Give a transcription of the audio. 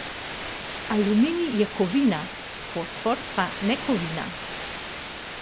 Aluminij je kovina, fosfor pa nekovina.